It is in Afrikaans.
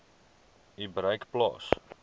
u bereik plaas